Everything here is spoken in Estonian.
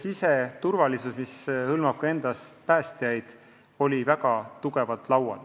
Siseturvalisus, mis hõlmab ka päästjaid, oli väga tugevalt laual.